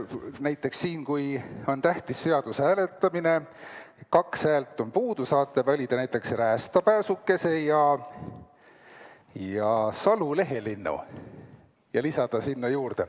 Näiteks kui on tähtis seaduse hääletamine, kaks häält on puudu, saate valida näiteks räästapääsukese ja salu-lehelinnu ja lisada sinna juurde.